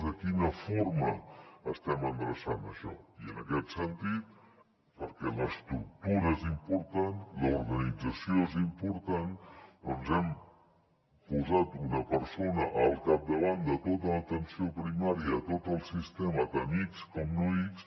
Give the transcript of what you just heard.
de quina forma estem endreçant això i en aquest sentit perquè l’estructura és important l’organització és important hem posat una persona al capdavant de tota l’atenció primària a tot el sistema tant ics com no ics